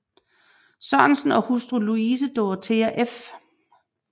Sørensen og hustru Louise Dorthea f